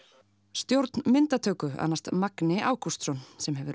stjórn myndatöku annast magni Ágústsson sem hefur